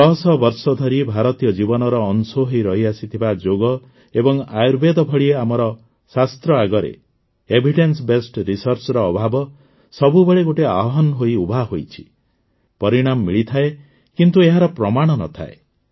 ଶହଶହ ବର୍ଷ ଧରି ଭାରତୀୟ ଜୀବନର ଅଂଶ ହୋଇ ରହିଆସିଥିବା ଯୋଗ ଏବଂ ଆୟୁର୍ବେଦ ଭଳି ଆମର ଶାସ୍ତ୍ର ଏଭିଡେନ୍ସ ବେସ୍ଡ Medicineର ଅଭାବ ସବୁବେଳେ ଗୋଟିଏ ଆହ୍ୱାନ ହୋଇ ଉଭା ହୋଇଛି ପରିଣାମ ମିଳିଥାଏ କିନ୍ତୁ ଏହାର ପ୍ରମାଣ ନ ଥାଏ